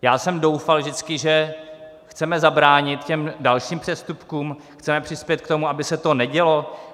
Já jsem doufal vždycky, že chceme zabránit těm dalším přestupkům, chceme přispět k tomu, aby se to nedělo.